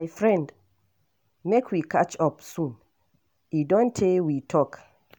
My friend, make we catch up soon, e don tay we talk.